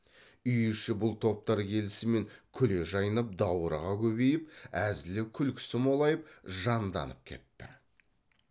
үй іші бұл топтар келісімен күле жайнап даурыға көбейіп әзілі күлкісі молайып жанданып кетті